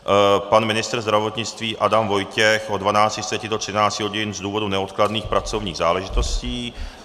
Pan ministr zdravotnictví Adam Vojtěch od 12.30 do 13 hodin z důvodu neodkladných pracovních záležitostí.